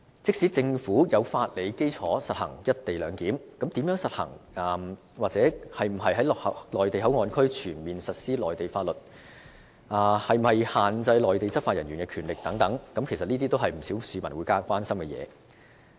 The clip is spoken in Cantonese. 即使政府有法理基礎實行"一地兩檢"，但如何實行、是否要在內地口岸區全面實施內地法律，以及是否需要限制內地執法人員的權力等，其實也是不少市民所關心的事情。